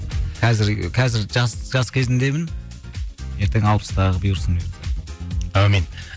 қазір ы қазір жас жас кезімдемін ертең алпыстағы бұйырсын әумин